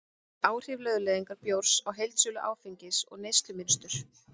Áhrif lögleiðingar bjórs á heildarsölu áfengis og neyslumynstur